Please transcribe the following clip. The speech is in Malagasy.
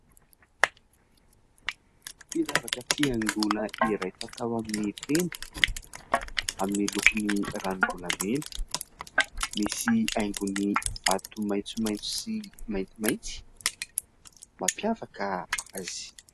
Firavaka fihaingoana iray fatao amin'ny tenda, amin'ny lokony ranom-bolamena. Misy haingony vato maitsomaitso sy maintimainty mampiavaka azy.